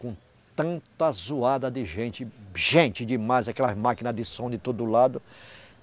Com tanta zoada de gente, gente demais, aquelas máquina de som de todo lado.